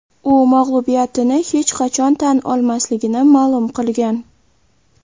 U mag‘lubiyatini hech qachon tan olmasligini ma’lum qilgan.